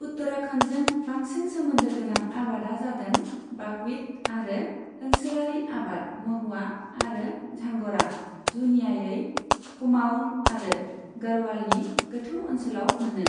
उत्तराखन्डजों बांंसिन सोमोन्दो गोनां आबादा जादों बाकविट आरो ओनसोलारि आबाद महुवा आरो झांग'रा, जुनियायै कुमाऊन आरो गाढ़वालनि गोथौ ओनसोलाव मोनो।